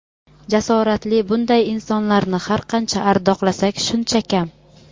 jasoratli bunday insonlarni har qancha ardoqlasak shuncha kam.